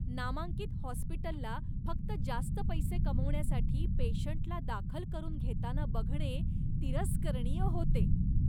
नामांकित हॉस्पिटलला फक्त जास्त पैसे कमवण्यासाठी पेशंटला दाखल करून घेताना बघणे तिरस्करणीय होते.